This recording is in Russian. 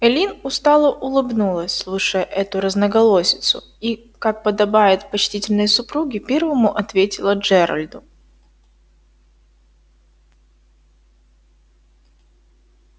эллин устало улыбнулась слушая эту разноголосицу и как подобает почтительной супруге первому ответила джеральду